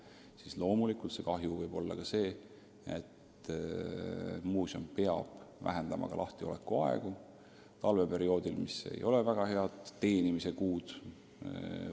Siis loomulikult võib see kahju seisneda ka selles, et muuseum peab talveperioodil, kui ei saa väga hästi teenida, lahtiolekuaegu vähendama.